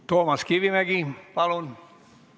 Toomas Kivimägi, palun!